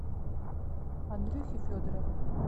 андрюхе федорову